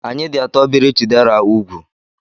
Anyị dị atọ biri Chidera úgwù.